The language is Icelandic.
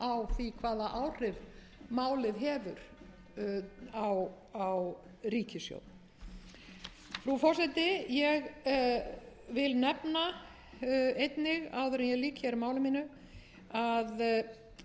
á því hvaða áhrif málið hefur á ríkissjóð frú forseti ég vil nefna einnig áður en ég lýk hér máli mínu að